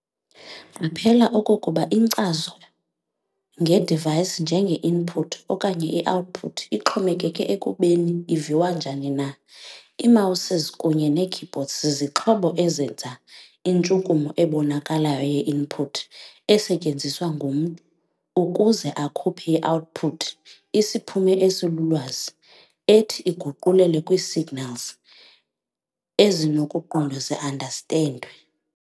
Qaphela okokuba inkcazo nge-device njenge-input okanye i-output ixhokeke ekubeni iviwa njani na. Ii-Mouses kunye nee-keyboards zixhobo ezenza intshukumo ebonakalayo ye-input esetyenziswa ngumntu ukuza akhuphe i-output, isiphumo esilulwazi, ethi iguqulelwe kwii-signals ezinokuqondwa zii-understand.